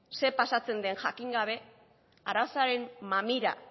ze pasatzen den jakin gabe arazoaren mamira